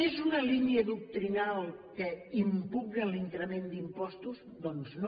és una línia doctrinal que impugna l’increment d’impostos doncs no